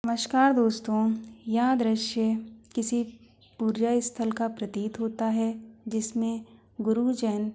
नमस्कार दोस्तों यद दृश्य किसी पूजा स्थल का प्रतीत होता है जिस मैं गुरु जैन --